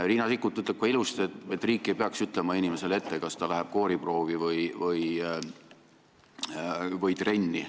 Riina Sikkut ütleb ka ilusti, et riik ei peaks ütlema inimesele ette, kas ta läheb kooriproovi või trenni.